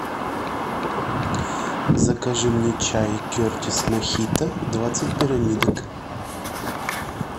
закажи мне чай кертис мохито двадцать пирамидок